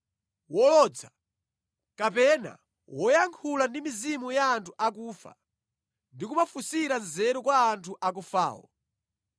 wolodza, kapena woyankhula ndi mizimu ya anthu akufa ndi kumafunsira nzeru kwa anthu akufawo.